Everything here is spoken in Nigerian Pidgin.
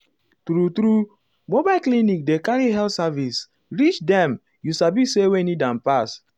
true-true mobile clinic dey carry health service reach dem you sabi say wey need am pass.